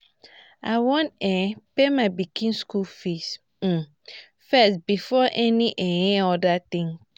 i wan um pay my pikin school fees um first before any um other thing